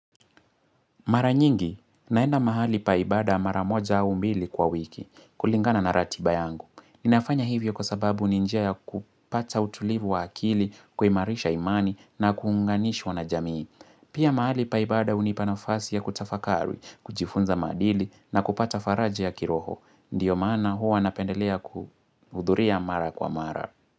Mara nyingi, naenda mahali pa ibada mara moja au mbili kwa wiki, kulingana na ratiba yangu. Ninafanya hivyo kwa sababu ni njia ya kupata utulivu wa akili, kuimarisha imani na kuunganishwa na jamii. Pia mahali pa ibada unipa nafasi ya kutafakari, kujifunza maadili na kupata faraja ya kiroho. Ndiyo maana huwa napendelea kuhudhuria mara kwa mara.